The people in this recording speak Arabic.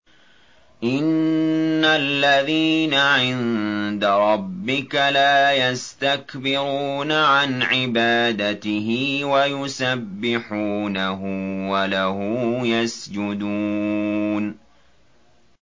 إِنَّ الَّذِينَ عِندَ رَبِّكَ لَا يَسْتَكْبِرُونَ عَنْ عِبَادَتِهِ وَيُسَبِّحُونَهُ وَلَهُ يَسْجُدُونَ ۩